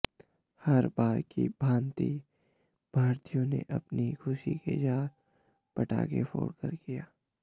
हर बार की भांति भारतीयों ने अपनी खुशी का इज़हार पटाखे फोड़कर किया